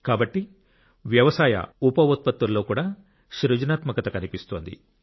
కాబట్టి వ్యవసాయ ఉప ఉత్పత్తులలో కూడా సృజనాత్మకత కనిపిస్తోంది